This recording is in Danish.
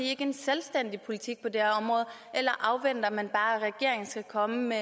ikke en selvstændig politik på det her område eller afventer man bare at regeringen skal komme med